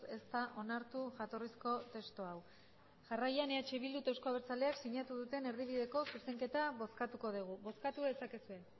ez da onartu jatorrizko testu hau jarraian eh bildu eta euzko abertzaleak sinatu duten erdibideko zuzenketa bozkatuko dugu bozkatu dezakezue